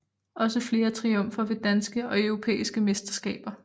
Også flere triumfer ved danske og europæiske mesterskaber